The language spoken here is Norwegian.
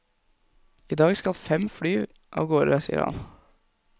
I dag skal fem fly av gårde, sier han.